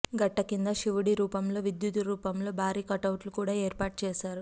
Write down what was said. గట్టకింద శివుడి రూపంలో విద్యు త్ రూపాలతో భారీ కటౌట్లు కూడా ఏర్పాటు చేశారు